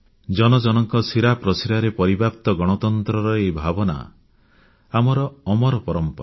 ଜନ ଜନଙ୍କ ଶିରା ପ୍ରଶିରାରେ ପରିବ୍ୟାପ୍ତ ଗଣତନ୍ତ୍ରର ଏହି ଭାବନା ଆମର ପରମ୍ପରା